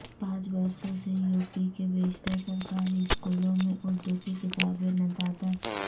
پانچ برسوں سے یو پی کے بیشتر سرکاری اسکولوں میں اردو کی کتابیں ندارد